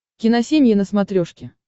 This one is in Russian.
киносемья на смотрешке